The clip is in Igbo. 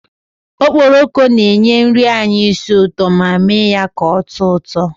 Okporoko na-enye nri anyị isi ụtọ ma mee ya ka oto uto